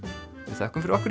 við þökkum fyrir okkur